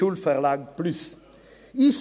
« Schulverlag plus AG ».